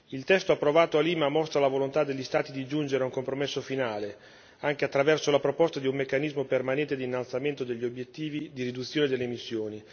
Il testo approvato a Lima mostra la volontà degli Stati di giungere ad un compromesso finale, anche attraverso al proposta di un meccanismo permanente di innalzamento degli obiettivi di riduzione delle emissioni.